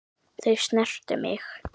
Þau snertu mig.